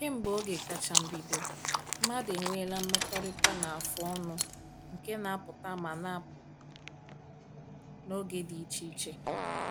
Kemgbe oge kacha mbido, mmadụ enweela mmekọrịta na-afụ ọnụ nke na-apụta ma na-apụ n’oge dị iche iche.